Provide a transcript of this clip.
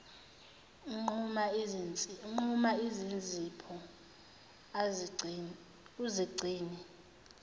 nquma izinzipho uzigcine